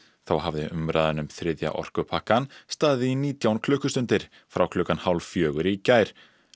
þá hafði umræðan um þriðja orkupakkann staðið í nítján klukkustundir frá klukkan hálf fjögur í gær